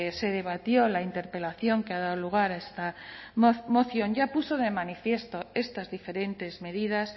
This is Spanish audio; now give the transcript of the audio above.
se debatió la interpelación que ha dado lugar a esta moción ya puso de manifiesto estas diferentes medidas